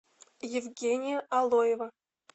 евгения алоева